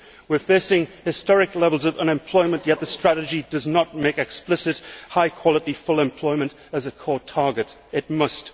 We are facing historic levels of unemployment, yet the strategy does not make explicit high quality full employment as a core target it must.